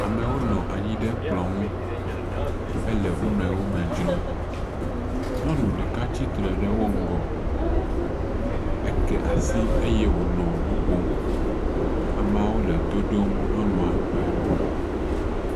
Amewo nɔ anyi ɖe kplɔ ŋu hele wo nɔe wo nɔewo me dzrom. Nyɔnu ɖeka tsitre ɖe wo ŋgɔ. Eke asi eye wonɔ nu ƒom. Ameawo le to ɖom nyɔnua ƒe nuƒoƒo.